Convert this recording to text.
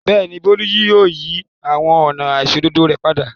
Bẹ́ẹ̀ ni, Bólú yóò yí àwọn ọ̀nà àìṣòdodo rẹ̀ padà.